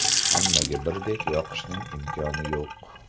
Hammaga birdek yoqishning imkoni yo‘q.